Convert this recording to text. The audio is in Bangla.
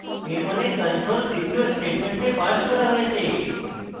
এর means control দ্বিতীয় statement পাস করা হয়েছে